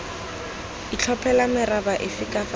itlhophela meraba efe kapa efe